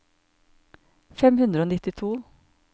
fem hundre og nittito